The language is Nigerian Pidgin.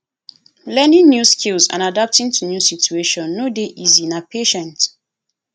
learning new skills and adapting to new situation no dey easy na patient